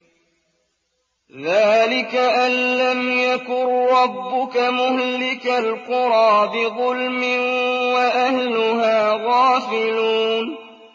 ذَٰلِكَ أَن لَّمْ يَكُن رَّبُّكَ مُهْلِكَ الْقُرَىٰ بِظُلْمٍ وَأَهْلُهَا غَافِلُونَ